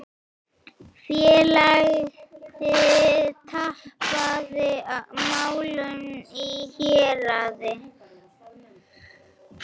Félagið tapaði málinu í héraði.